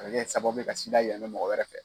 A ka kɛ sababu ye ka yɛlɛma mɔgɔ wɛrɛ fɛ.